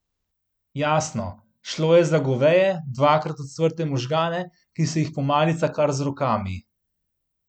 Jasno, šlo je za goveje, dvakrat ocvrte možgane, ki se jih pomalica kar z rokami.